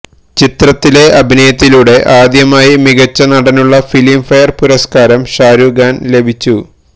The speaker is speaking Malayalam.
ചിത്രത്തിലെ അഭിനയത്തിലൂടെ ആദ്യമായി മികച്ച നടനുള്ള ഫിലിം ഫെയർ പുരസ്കാരം ഷാരൂഖ് ഖാന് ലഭിച്ചു